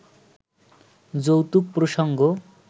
যৌতুক প্রসঙ্গ